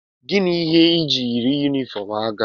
Gịnị ihe ị ji yiri yunifọm agha?